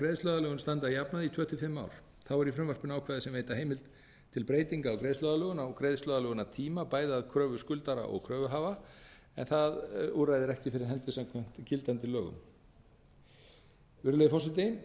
greiðsluaðlögun standi að jafnaði í tvo til fimm ár þá eru í frumvarpinu ákvæði sem veita heimild til breytinga á greiðsluaðlögun á greiðsluaðlögunartíma bæði að kröfu skuldara og kröfuhafa en það úrræði er ekki fyrir hendi samkvæmt gildandi lögum virðulegi forseti